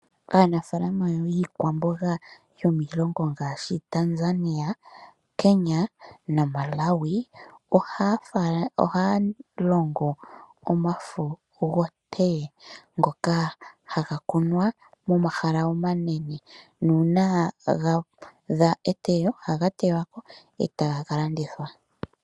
Aanafaalama yiikwamboga yomiilongo ngaashi, Tanzania, Kenya naMalawi ohaya longo omafo goTee ngoka haga kunwa momahala omanene nuuna ga eteyo, ohaga tewako etagalandithwa